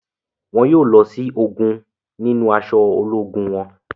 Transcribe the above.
Wọn yóò lọ si ogún nínú aṣọ ológun wọn